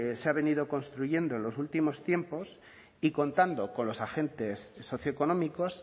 se ha venido construyendo en los últimos tiempos y contando con los agentes socioeconómicos